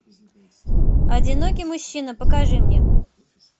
одинокий мужчина покажи мне